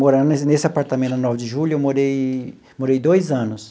Morando ne nesse apartamento, na Nove de julho, eu morei morei dois anos.